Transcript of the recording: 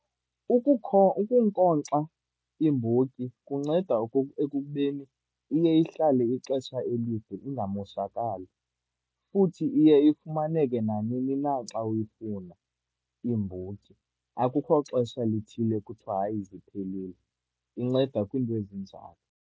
Ukunkonkxa iimbotyi kunceda ekubeni iye ihlale ixesha elide ingamoshakali. Futhi iye ifumaneke nanini na xa uyifuna, iimbotyi. Akukho xesha lithile kuthiwa, hayi ziphelile. Inceda kwiinto ezinjalo.